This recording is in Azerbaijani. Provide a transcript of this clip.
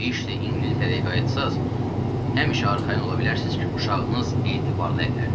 İşdi İngiltərəyə qayıtsaz, həmişə arxayın ola bilərsiz ki, uşağınız etibar ləllərdədir.